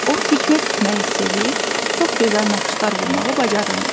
O tikmə tikməyi sevir, çox gözəl naxışlar vurmağı bacarırmış.